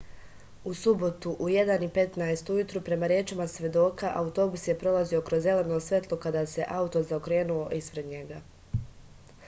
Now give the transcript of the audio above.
u subotu u 1:15 ujutru prema rečima svedoka autobus je prolazio kroz zeleno svetlo kada se auto zaokrenuo ispred njega